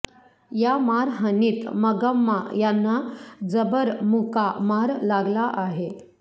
या मारहाणीत मंगम्मा यांना जबर मुका मार लागला आहे